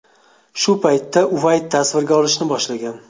Shu paytda Uayt tasvirga olishni boshlagan.